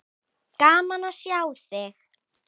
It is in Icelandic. Gaman að sjá þig.